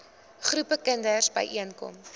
groepe kinders byeenkom